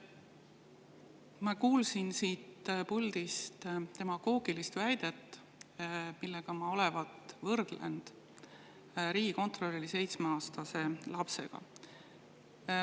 Ma kuulsin siit puldist demagoogilist väidet, nagu ma olevat võrrelnud riigikontrolöri seitsmeaastase lapsega.